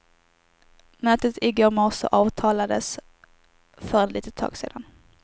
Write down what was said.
Mötet i går morse avtalades för ett litet tag sedan.